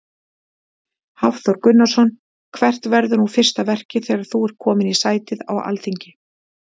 Hafþór Gunnarsson: Hvert verður nú fyrsta verkið þegar þú ert komin í sætið á Alþingi?